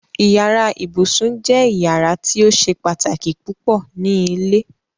Ìyàrá ìbùṣún jẹ́ ìyàrá tí ó ṣè pátákí púpọ̀ ní ilẹ̀.